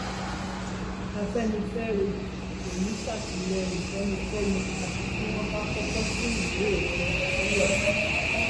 afẹnifẹre kò ní í sàtìlẹyìn fẹnikẹni àfi tí wọn bá kọkọ tún ìwé òfin nàìjíríà ṣe